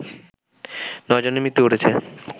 নয় জনের মৃত্যু ঘটেছে